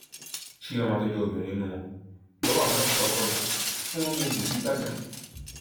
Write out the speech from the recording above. chioma tó jẹ obìnrin inú wọn lọwọ àwọn ọlọpàá kọkọ bá tì wọn mú un jù sí gbàgà